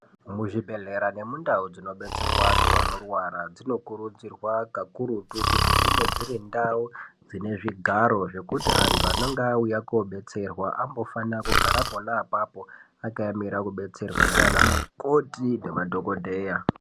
Muzvibhedhlera nemundau dzinobetserwa antu anorwara dzinokurudzirwa kakurutu kuti dzinge dziri ndau dzine zvigaro zvekuti antu anenge auta kobatsirwa ambofana kugara pona apapo akaemera kubatsirwa ndiana mukoti nemadhokodheya